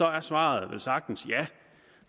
er svaret velsagtens ja